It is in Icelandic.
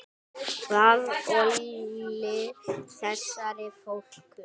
Hvað olli þessari fólsku?